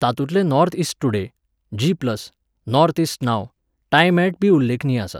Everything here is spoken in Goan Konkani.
तातूंतले North East Today, G plus, Northeast नाव, टायम एट बी उल्लेखनीय आसात.